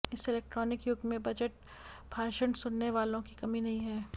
इस इलेक्ट्रॉनिक युग में बजट भाषण सुनने वालों की कमी नहीं है